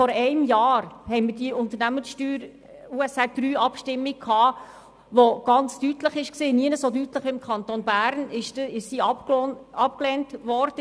Vor einem Jahr fand die Abstimmung über die USR III mit den darin geplanten Steuersenkungen statt, die nirgends so deutlich wie im Kanton Bern abgelehnt wurde.